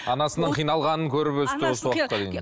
анасының қиналғанын көріп өсті осы уақытқа дейін